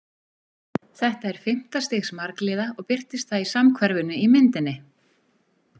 Þetta er fimmta stigs margliða og birtist það í samhverfunni í myndinni.